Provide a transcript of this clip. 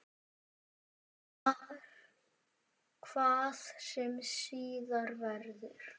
Hvað sem síðar verður.